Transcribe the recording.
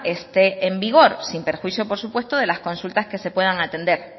esté en vigor sin perjuicio por supuesto de las consultas que se puedan atender